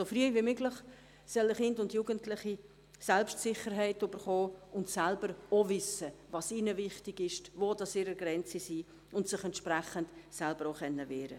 So früh wie möglich sollen Kinder und Jugendliche Selbstsicherheit bekommen und selbst wissen, was ihnen wichtig ist, wo ihre Grenzen sind und sich entsprechend auch selber wehren können.